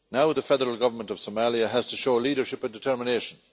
The Federal Government of Somalia now has to show leadership and determination.